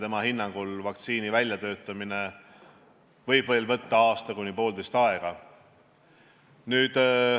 Tema hinnangul võib vaktsiini väljatöötamine võtta veel aasta kuni poolteist aega.